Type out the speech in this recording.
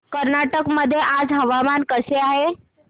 कर्नाटक मध्ये आज हवामान कसे आहे